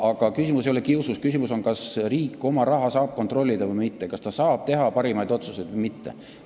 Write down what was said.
Aga küsimus ei ole kiusus, küsimus on selles, kas riik saab oma raha kontrollida või mitte, kas ta saab teha parimaid otsuseid või mitte.